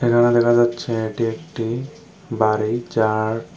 এখানে দেখা যাচ্ছে এটি একটি বাড়ি যার--।